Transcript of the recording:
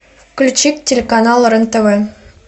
включи телеканал рен тв